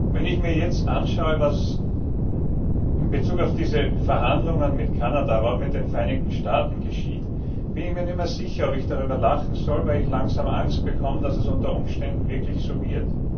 Wenn ich mir jetzt anschaue, was in Bezug auf diese Verhandlungen mit Kanada, aber auch mit den Vereinigten Staaten geschieht, bin ich mir nicht mehr sicher, ob ich darüber lachen soll, weil ich langsam Angst bekomme, dass es unter Umständen wirklich so wird.